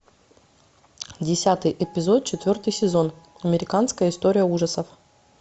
десятый эпизод четвертый сезон американская история ужасов